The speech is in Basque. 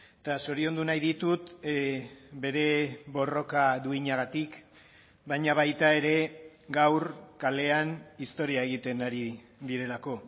eta zoriondu nahi ditut bere borroka duinagatik baina baita ere gaur kalean historia egiten ari direlako